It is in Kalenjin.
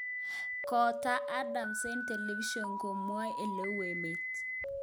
Kotaak Adams eng television komwae oleu emet